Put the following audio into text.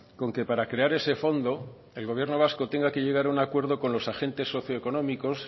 con que para crear ese fondo el gobierno vasco tenga que llegar a un acuerdo con los agentes socioeconómicos